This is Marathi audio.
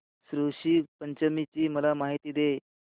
ऋषी पंचमी ची मला माहिती दे